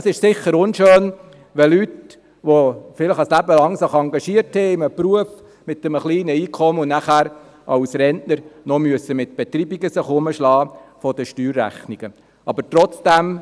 Es ist sicher unschön, wenn Leute, die sich ein Leben lang engagiert haben, mit einem kleinen Einkommen anschliessend als Rentner mit Betreibungen der Steuerrechnungen herumschlagen müssen.